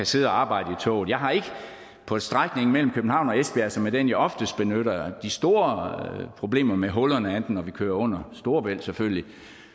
sidde og arbejde i toget jeg har ikke på strækningen mellem københavn og esbjerg som er den jeg oftest benytter de store problemer med hullerne andet end når vi kører under storebælt selvfølgelig